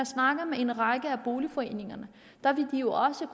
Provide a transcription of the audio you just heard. snakker med en række af boligforeningerne